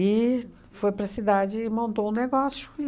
E foi para a cidade e montou um negócio.